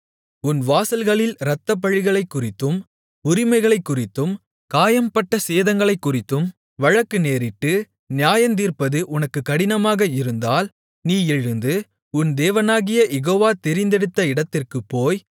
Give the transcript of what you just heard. உன் வாசல்களில் இரத்தப்பழிகளைக்குறித்தும் உரிமைகளைக்குறித்தும் காயம்பட்ட சேதங்களைக்குறித்தும் வழக்கு நேரிட்டு நியாயந்தீர்ப்பது உனக்கு கடினமாக இருந்தால் நீ எழுந்து உன் தேவனாகிய யெகோவா தெரிந்தெடுத்த இடத்திற்குப்போய்